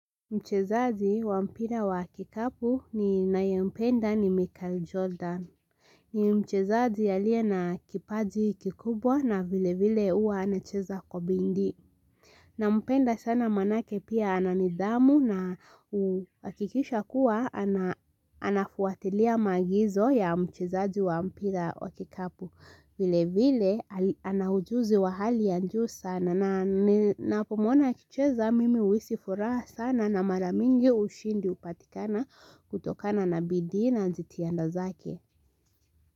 Mchezaji wa mpira wa kikapu ninayempenda ni Michael Jordan. Ni mchezaji aliye na kipaji kikubwa na vile vile huwa anacheza kwa bidii. Nampenda sana maanake pia ana nidhamu na huakikisha kuwa anafuatilia maagizo ya mchezaji wa mpira wa kikapu. Vilevile ana ujuzi wa hali ya juu sana na ninapomwona akicheza mimi huisi furaha sana na mara mingi ushindi hupatikana kutokana na bidii na jitihada zake.